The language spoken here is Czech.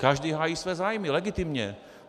Každý hájí své zájmy, legitimně.